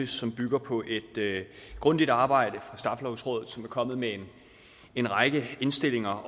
som bygger på et grundigt arbejde fra straffelovrådet som er kommet med en række indstillinger